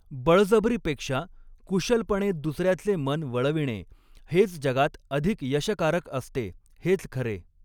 बळजबरीपेक्षा कुशलपणे दुस याचे मन वळविणे, हेच जगात अधिक यशकारक असते, हेच खरे.